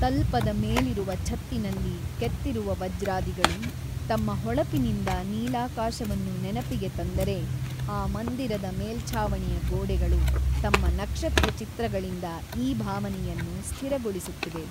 ತಲ್ಪದ ಮೇಲಿರುವ ಛತ್ತಿನಲ್ಲಿ ಕೆತ್ತಿರುವ ವಜ್ರಾದಿಗಳು ತಮ್ಮ ಹೊಳಪಿನಿಂದ ನೀಲಾಕಾಶವನ್ನು ನೆನಪಿಗೆ ತಂದರೇ ಆ ಮಂದಿರದ ಮೇಲ್ಛಾವಣಿಯ ಗೋಡೆಗಳು ತಮ್ಮ ನಕ್ಷತ್ರ ಚಿತ್ರಗಳಿಂದ ಈ ಭಾವನೆಯನ್ನು ಸ್ಥಿರಗೊಳಿಸುತ್ತಿವೆ.